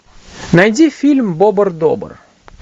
найди фильм бобр добр